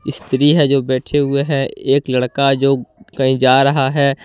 स्त्री है जो बैठे हुए हैं। एक लड़का जो कहीं जा रहा है।